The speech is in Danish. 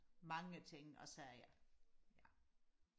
mange ting og sager